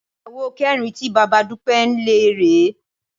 Ìyàwó kẹrin tí bàbá Dúpẹ́ ń lé rè é